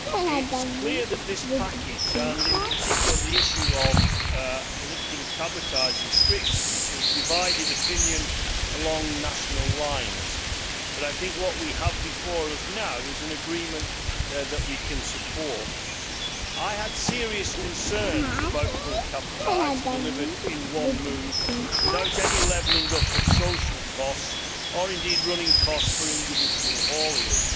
It is clear that this package, and in particular the issue of lifting cabotage restrictions, has divided opinion along national lines, but I think what we have before us now is an agreement that we can support. I had serious concerns about full cabotage delivered in one move without any levelling up of social costs, or indeed running costs, for individual hauliers.